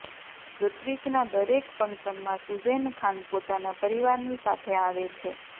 ઋત્વિક ના દરેક ફંક્શન માં સુઝેન ખાન પોતાના પરિવાર ની સાથે આવે છે